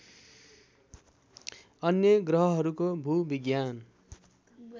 अन्य ग्रहहरूको भूविज्ञान